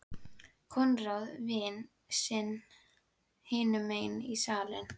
Konráð vin sinn hinum megin í salnum.